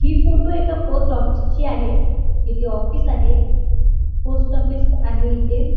हि फोटो एका post office ची आहे इथे ऑफिस आहे पोस्ट ऑफिस आहे इथे.